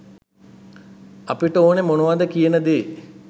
අපිට ඕනේ මොනවද කියන දේ.